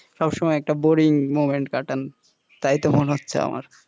সব সময় একটা boring moment কাটান তাইতো মনে হচ্ছে আমার,